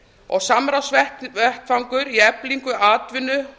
og samráðsvettvangur í eflingu atvinnu